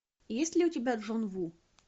есть ли у тебя джон ву